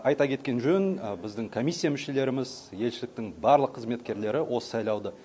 айта кеткен жөн біздің комиссия мүшелеріміз елшіліктің барлық қызметкерлері осы сайлауды